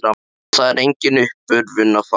Þar er enga uppörvun að fá.